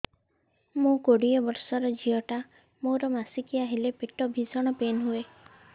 ମୁ କୋଡ଼ିଏ ବର୍ଷର ଝିଅ ଟା ମୋର ମାସିକିଆ ହେଲେ ପେଟ ଭୀଷଣ ପେନ ହୁଏ